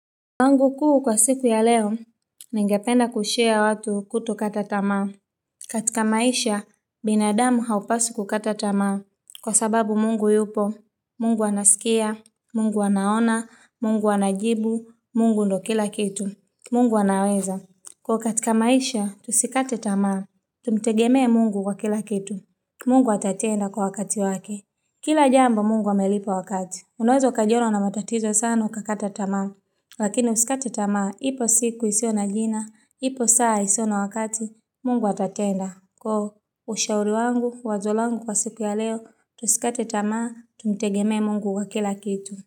Langu kuu kwa siku ya leo, ningependa kushea watu kuto katatamaa. Katika maisha, binadamu haupasi kukatatamaa. Kwa sababu mungu yupo, mungu anasikia, mungu anaona, mungu anajibu, mungu ndo kila kitu, mungu anaweza. Kwa katika maisha, tusikate tamaa, tumtegemea mungu kwa kila kitu. Mungu atatenda kwa wakati wake. Kila jambo mungu amelipo wakati. Unweza ukajiona una matatizo sana ukakata tamaa, lakini usikate tamaa, ipo siku isio na jina, ipo saa isio na wakati, mungu watatenda. Kwa ushauri wangu, wazolangu kwa siku ya leo, tusikate tamamu, tumtegeme mungu kwa kila kitu.